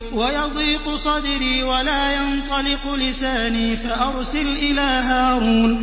وَيَضِيقُ صَدْرِي وَلَا يَنطَلِقُ لِسَانِي فَأَرْسِلْ إِلَىٰ هَارُونَ